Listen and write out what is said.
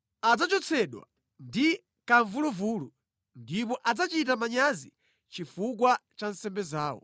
Adzachotsedwa ndi kamvuluvulu ndipo adzachita manyazi chifukwa cha nsembe zawo.